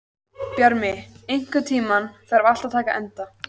Bjarni, einhvern tímann þarf allt að taka enda.